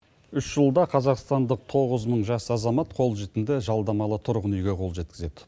үш жылда қазақстандық тоғыз мың жас азамат қол жетімді жалдамалы тұрғын үйге қол жеткізеді